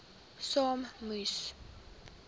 saak moes